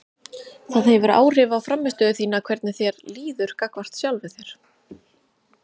Það hefur áhrif á frammistöðu þína hvernig þér líður gagnvart sjálfum þér.